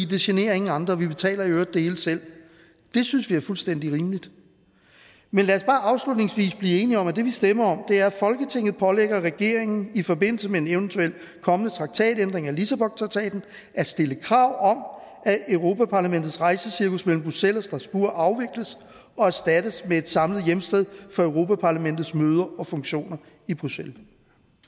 det generer ingen andre og vi betaler i øvrig det hele selv synes vi er fuldstændig rimeligt men lad os bare afslutningsvis blive enige om at det vi stemmer om er folketinget pålægger regeringen i forbindelse med en eventuelt kommende traktatændring af lissabontraktaten at stille krav om at europa parlamentets rejsecirkus mellem bruxelles og strasbourg afvikles og erstattes med ét samlet hjemsted for europa parlamentets møder og funktioner i bruxelles